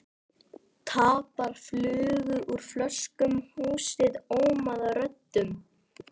Tappar flugu úr flöskum, húsið ómaði af röddum.